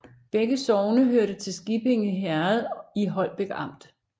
Begge sogne hørte til Skippinge Herred i Holbæk Amt